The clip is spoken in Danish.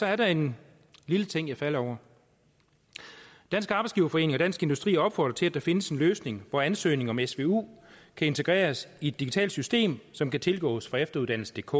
er der en lille ting jeg falder over dansk arbejdsgiverforening og dansk industri opfordrer til at der findes en løsning hvor ansøgning om svu kan integreres i et digitalt system som kan tilgås fra efteruddannelsedk